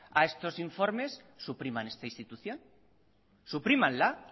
a estos informes supriman esta institución suprímanla